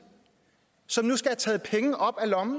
som nu skal have taget penge op af lommen